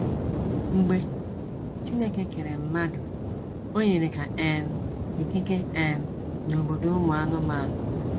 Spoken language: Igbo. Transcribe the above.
Mgbe Chineke kere mmadụ, ọ nyere ha um ikike um n’obodo ụmụanụmanụ.